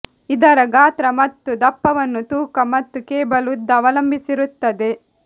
ಇದರ ಗಾತ್ರ ಮತ್ತು ದಪ್ಪವನ್ನು ತೂಕ ಮತ್ತು ಕೇಬಲ್ ಉದ್ದ ಅವಲಂಬಿಸಿರುತ್ತದೆ